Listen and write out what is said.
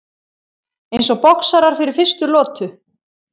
Eins og boxarar fyrir fyrstu lotu.